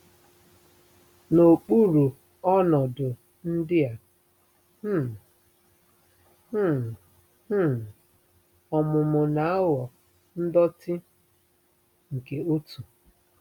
N'okpuru ọnọdụ ndị a um, um um ọmụmụ na-aghọ ndọtị nke otu.